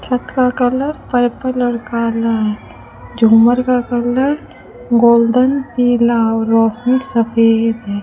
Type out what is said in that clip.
छत का colour purple और काला है झूमर का कलर गोल्डन पीला और रोशनी सफेद है।